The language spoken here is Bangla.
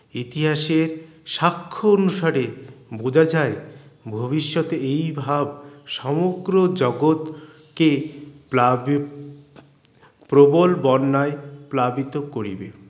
ইতিহাসের সাক্ষ অনুসারে বোঝা যায় ভবিষ্যত এই ভাব সমগ্ৰ জগৎ কে প্লাবি প্রবল বন্যায় প্লাবিত করিবে